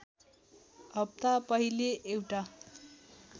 हफ्ता पहिले एउटा